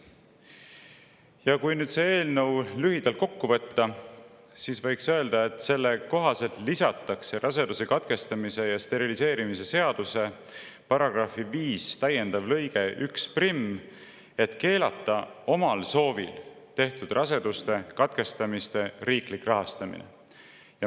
Ja kui nüüd selle eelnõu lühidalt kokku võtta, siis selle kohaselt täiendatakse raseduse katkestamise ja steriliseerimise seaduse § 5 lõikega 11, et keelata omal soovil tehtud raseduse katkestamise riiklik rahastamine.